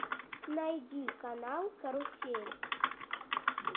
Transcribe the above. найди канал карусель